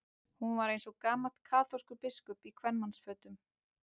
Hún var eins og gamall kaþólskur biskup í kvenmannsfötum.